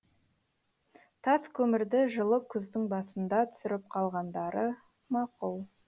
тас көмірді жылы күздің басында түсіріп қалғандары мақұл